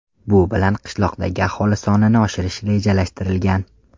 Bu bilan qishloqdagi aholi sonini oshirish rejalashtirilgan.